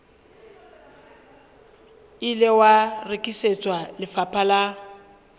ile wa rekisetswa lefapha la